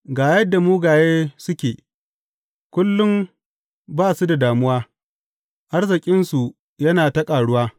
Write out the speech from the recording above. Ga yadda mugaye suke, kullum ba su da damuwa, arzikinsu yana ta ƙaruwa.